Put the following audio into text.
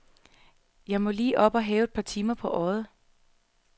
Jeg må lige op og have et par timer på øjet.